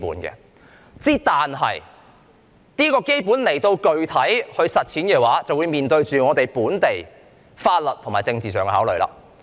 但是，要實踐這些基本原則，便須面對本地法律及政治上的考慮。